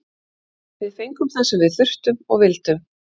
Við fengum það sem við þurftum og vildum.